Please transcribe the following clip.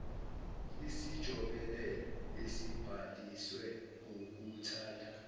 isijobelelo esibhalisiwe ngokuthanda